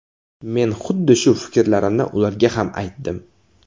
Men huddi shu fikrlarimni ularga ham aytdim.